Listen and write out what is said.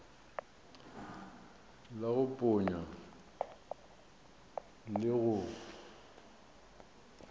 la go ponya le go